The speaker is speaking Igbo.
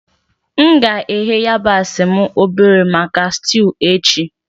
M ga-eghe yabasi m obere maka stuu echi.